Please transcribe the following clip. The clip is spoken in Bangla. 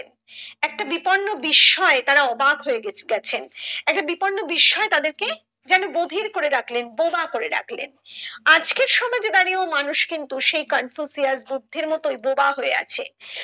একটা বিপন্ন বিস্ময় তারা অবাক হয়ে গে গেছেন একটা বিপন্ন বিস্ময় তাদের কে যেন গভীর করে রাখলেন বোবা করে রাখলেন আজকের সমাজে দাঁড়িয়ে মানুষ কিন্তু সেই কনফুসিয়াস বুদ্ধের মতোই বোবা হয়ে আছে